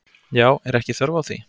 Já, er ekki þörf á því?